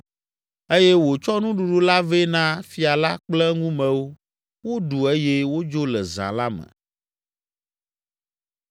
eye wòtsɔ nuɖuɖu la vɛ na fia la kple eŋumewo woɖu eye wodzo le zã la me.